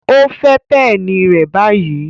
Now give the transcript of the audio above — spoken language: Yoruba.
O fẹ peni rẹ ni bayi!